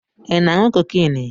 Ị na-aṅụ cocaine?